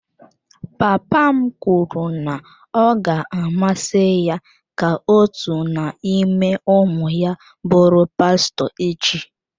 Papa m kwuru na ọ ga-amasị ya ka otu n'ime ụmụ ya bụrụ pastọ echi.